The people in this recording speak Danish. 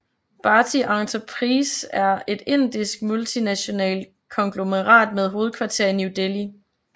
Bharti Enterprises er et indisk multinationalt konglomerat med hovedkvarter i New Delhi